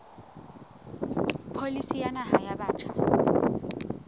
pholisi ya naha ya batjha